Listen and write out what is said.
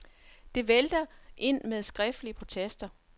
Det vælter ind med skriftlige protester.